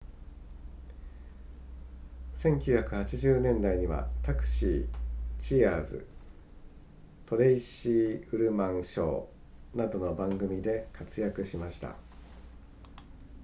1980年代には「タクシー」、「チアーズ」、「トレイシー・ウルマン・ショー」などの番組で活躍しました